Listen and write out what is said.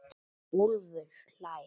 Úlfur hlær.